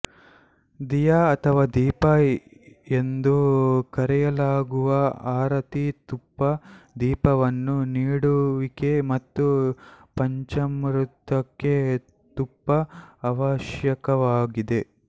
ದೀಯಾ ಅಥವಾ ದೀಪಾ ಎಂದು ಕರೆಯಲಾಗುವ ಆರತಿ ತುಪ್ಪ ದೀಪವನ್ನು ನೀಡುವಿಕೆ ಮತ್ತು ಪಂಚಾಮೃತಕ್ಕೆ ತುಪ್ಪ ಅವಶ್ಯಕವಾಗಿದೆ